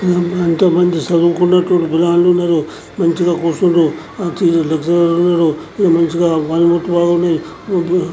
ఎంతో మంది చదువుకున్నట్టు పిల్లగాళ్ళు ఉన్నారు మంచిగా కూర్చుందురు మంచిగా లెక్చరర్ లు ఉన్నారు మంచిగా